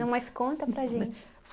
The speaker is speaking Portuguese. Não, mas conta para gente.